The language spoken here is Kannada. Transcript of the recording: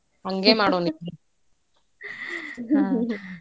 ಹಂಗೇ ಮಾಡುಣ ಇಬ್ರು .